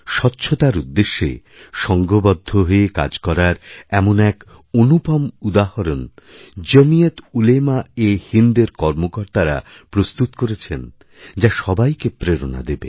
স্বচ্ছতারউদ্দেশ্যে সংঘবদ্ধ হয়ে কাজ করার এমন এক অনুপম উদাহরণ জমীয়েতউলেমাএহিন্দএরকর্মকর্তারা প্রস্তুত করেছেন যা সবাইকে প্রেরণা দেবে